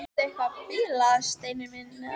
Ertu eitthvað að bilast, Steini minn?